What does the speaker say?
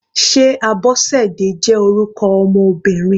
Sé Abosede jẹ́ orúkọ ọmọ Obìnrin?